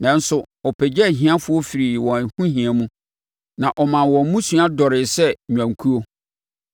Nanso, ɔpagyaa ahiafoɔ firii wɔn ahohia mu na ɔmaa wɔn mmusua dɔree sɛ nnwankuo.